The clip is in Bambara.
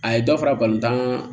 A ye dɔ fara balontan kan